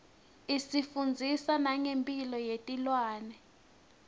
isifundzisa nengemphilo yetilwane